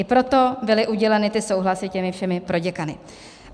I proto byly uděleny ty souhlasy všemi těmi proděkany.